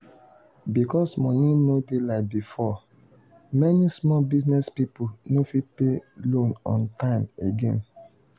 because money no dey like before many small business people no fit pay loan on time again.